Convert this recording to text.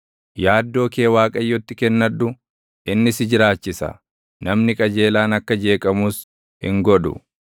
Yaaddoo kee Waaqayyotti kennadhu; inni si jiraachisa; namni qajeelaan akka jeqamus hin godhu.